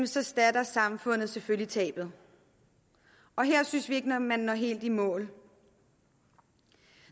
så erstatter samfundet selvfølgelig tabet her synes vi ikke at man når helt i mål